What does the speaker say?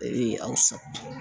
Ee aw sa